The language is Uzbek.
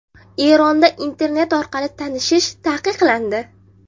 Eronda internet orqali tanishish taqiqlandi.